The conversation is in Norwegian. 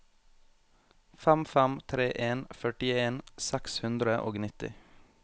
fem fem tre en førtien seks hundre og nitti